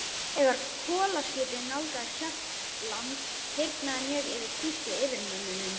Þegar kolaskipið nálgaðist Hjaltland, hýrnaði mjög yfir þýsku yfirmönnunum.